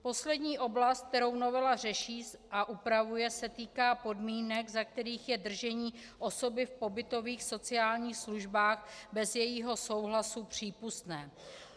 Poslední oblast, kterou novela řeší a upravuje, se týká podmínek, za kterých je držení osoby v pobytových sociálních službách bez jejího souhlasu přípustné.